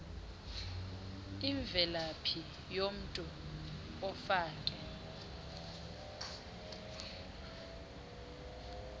imvelaphi yomntu ofake